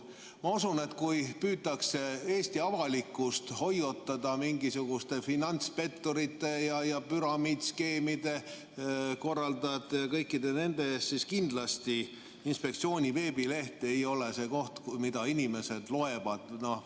Ma usun, et kui püütakse Eesti avalikkust hoiatada mingisuguste finantspetturite või püramiidskeemide korraldajate eest, siis kindlasti pole inspektsiooni veebileht see koht, mida inimesed loevad.